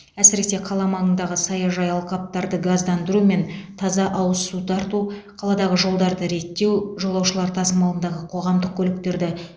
әсіресе қала маңындағы саяжай алқаптарды газдандыру мен таза ауыз су тарту қаладағы жолдарды реттеу жолаушылар тасымалындағы қоғамдық көліктерді